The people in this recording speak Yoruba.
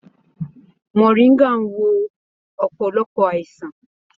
Moringa ń wo ọ̀pọ̀lọpọ̀ àìsàn.